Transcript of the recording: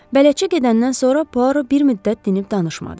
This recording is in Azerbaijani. Bələdçi gedəndən sonra Puara bir müddət dinib danışmadı.